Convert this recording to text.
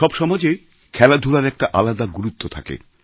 সব সমাজেই খেলাধূলার একটা আলাদা গুরুত্ব থাকে